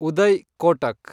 Uday Kotak